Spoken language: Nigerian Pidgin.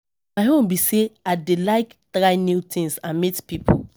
My own be say I dey like try new things and meet people.